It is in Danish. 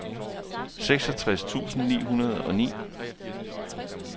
seksogtres tusind ni hundrede og ni